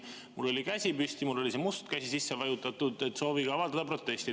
Mul oli käsi püsti, mul oli must käsi sisse vajutatud, et soovin avaldada protesti.